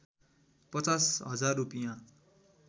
५० हजार रूपियाँ